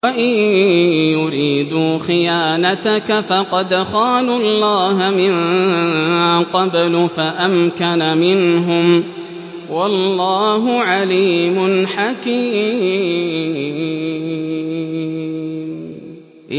وَإِن يُرِيدُوا خِيَانَتَكَ فَقَدْ خَانُوا اللَّهَ مِن قَبْلُ فَأَمْكَنَ مِنْهُمْ ۗ وَاللَّهُ عَلِيمٌ حَكِيمٌ